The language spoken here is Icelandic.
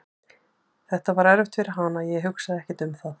Þetta var erfitt fyrir hana en ég hugsaði ekkert um það.